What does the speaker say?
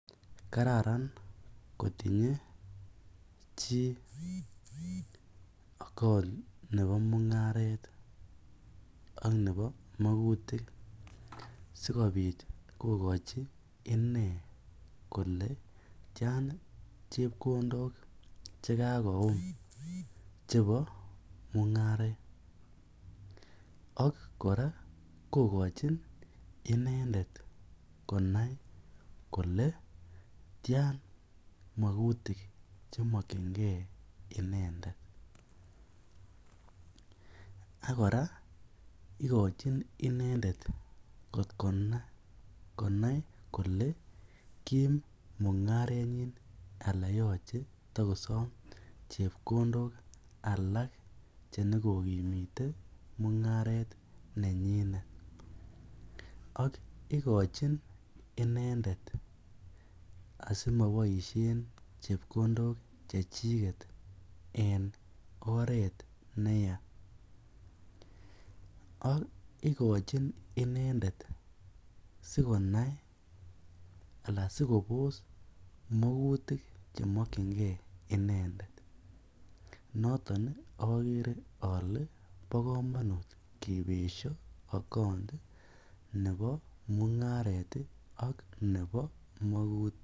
Kararan kotinye chii account nebo mungaret ak nebo mokutik sikobit kokochi inee kolee tian chepkondok chekakoum chebo mungaret ak kora kokochin inendet konai kolee tian mokutik chemokyinge inendet, ak kora ikochin inendet kot konai kolee kiim mungarenyin anan yoche kotokosom chepkondok alak chenyo konyumnyumite mungaret nenyinet ak ikochin inendet asimoboishen chepkondok cchechiket en oreet neyaa ak ikochin inendet sikobos moutik chemokyinge inendet, noton okere olee bo komonut kibesho account nebo mungaret ak nebo mokutik.